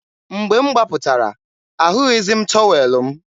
mgbe m gbapụtara, ahụghịzi m tọwel m.